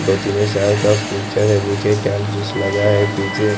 दो तीन या चार का पिक्चर है नीचे टाइल जैसा लगा है पीछे --